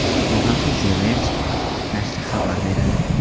Bu haqda The Verge nashri xabar beradi.